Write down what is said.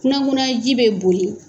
Kunankunanya ji bɛ boli